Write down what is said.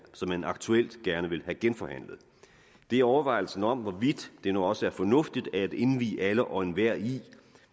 som man aktuelt gerne vil have genforhandlet og det er overvejelsen om hvorvidt det nu også er fornuftigt at indvie alle og enhver i